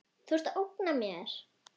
Þú ert að ógna mér.